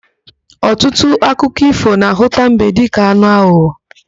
Ọtụtụ akụkọ ífò na-ahụta mbe dịka anụ aghụghọ.